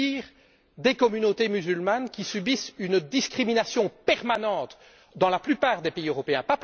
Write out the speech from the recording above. Mais que dire des communautés musulmanes, qui subissent une discrimination permanente dans la plupart des pays européens?